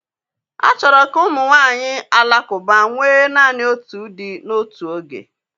A chọrọ ka ụmụ nwanyị Alakụba nwee naanị otu di n'otu oge.